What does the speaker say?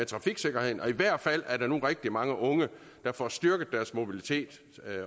trafiksikkerheden og i hvert fald er der nu rigtig mange unge der får styrket deres mobilitet